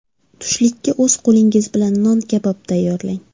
Tushlikka o‘z qo‘lingiz bilan non kabob tayyorlang.